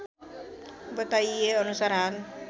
बताइएअनुसार हाल